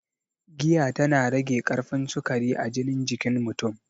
Giya ta na rage karfin sukari a jinin jikin mutun